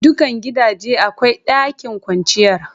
Dukan gidaje akwai ɗakin kwanciyar.